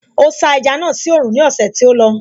Ó sá ẹja náà sí oòrùn ní ọ̀sẹ̀ tí ó lọ